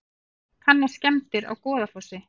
Kanna skemmdir á Goðafossi